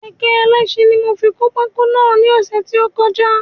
Kékẹ̀ ẹlẹ́sin ní mo fi kó pákó náà ní ọ̀sẹ̀ tí ó kọjá